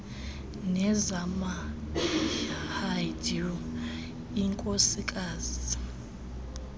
nezama hindu inkosikazi